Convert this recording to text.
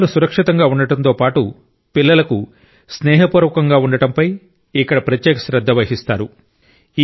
బొమ్మలు సురక్షితంగా ఉండటంతో పాటు పిల్లలకు స్నేహపూర్వకంగా ఉండడంపై ఇక్కడ ప్రత్యేక శ్రద్ధ వహిస్తారు